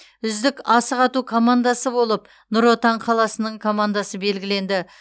үздік асық ату командасы болып нұр отан қаласының командасы белгіленді